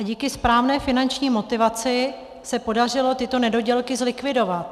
A díky správné finanční motivaci se podařilo tyto nedodělky zlikvidovat.